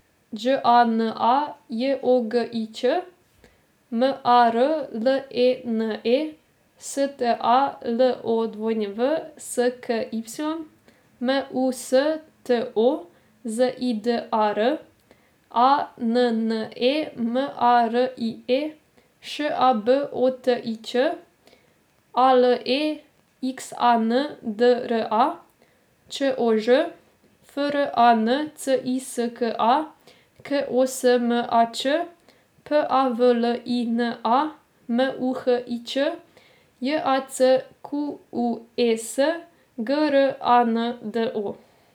Đ A N A, J O G I Ć; M A R L E N E, S T A L O W S K Y; M U S T O, Z I D A R; A N N E M A R I E, Š A B O T I Ć; A L E X A N D R A, Č O Ž; F R A N C I S K A, K O S M A Č; P A V L I N A, M U H I Č; J A C Q U E S, G R A N D O.